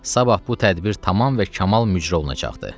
Sabah bu tədbir tamam və kamal müzr olunacaqdır.